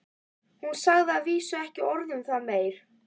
Hún sagði að vísu ekki orð um það meir.